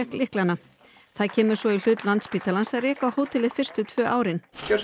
lyklana það kemur svo í hlut Landspítalans að reka hótelið fyrstu tvö árin gjörðu